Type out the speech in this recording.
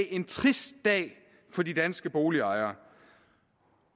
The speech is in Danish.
en trist dag for de danske boligejere